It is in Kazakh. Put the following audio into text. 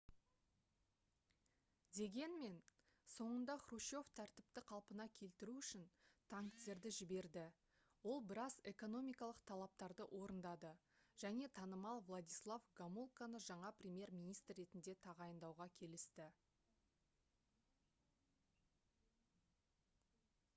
дегенмен соңында хрущев тәртіпті қалпына келтіру үшін танктерді жіберді ол біраз экономикалық талаптарды орындады және танымал владислав гомулканы жаңа премьер-министр ретінде тағайындауға келісті